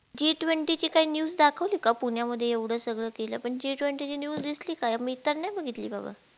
G Twenty ची काही news दाखवली का पुण्यामध्ये एवढ सगळं केल पण G Twenty ची news दिसली का मी तर नाई बघितली बाबा